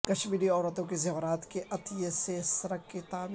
کشمیری عورتوں کے زیورات کے عطیے سے سڑک کی تعمیر